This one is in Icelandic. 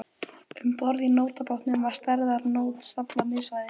Um borð í nótabátnum var stærðar nót staflað miðsvæðis.